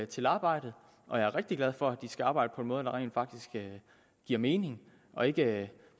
til arbejdet og jeg er rigtig glad for at de skal arbejde på en måde der rent faktisk giver mening og ikke